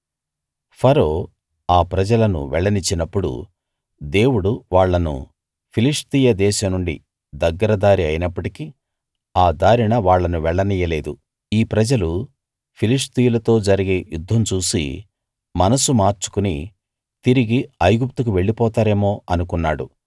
ఫరో ఆ ప్రజలను వెళ్ళనిచ్చినప్పుడు దేవుడు వాళ్ళను ఫిలిష్తీయ దేశం నుండి దగ్గర దారి అయినప్పటికీ ఆ దారిన వాళ్ళను వెళ్లనీయలేదు ఈ ప్రజలు ఫిలిష్తీయులతో జరిగే యుద్ధం చూసి మనసు మార్చుకుని తిరిగి ఐగుప్తుకు వెళ్లిపోతారేమో అనుకున్నాడు